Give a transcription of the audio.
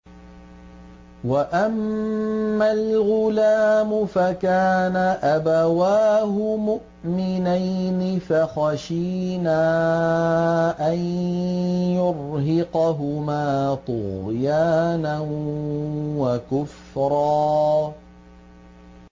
وَأَمَّا الْغُلَامُ فَكَانَ أَبَوَاهُ مُؤْمِنَيْنِ فَخَشِينَا أَن يُرْهِقَهُمَا طُغْيَانًا وَكُفْرًا